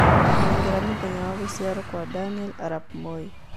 nengera mũthenya wa gũcĩarwo Kwa Daniel Arap Moi